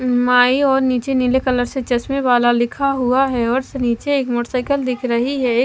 माई और नीचे नीले कलर से चश्मे वाला लिखा हुआ है और से नीचे एक मोटर साइकिल दिख रही है एक --